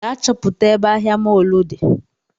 Gaa chọpụta ebe ahịa mọlụ di